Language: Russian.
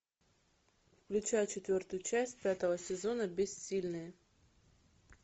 включай четвертую часть пятого сезона бессильные